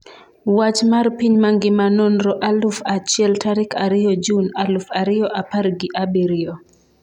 Wach mar piny mangima Nonro aluf achiel tarik ariyo jun aluf ariyo apar gi abirio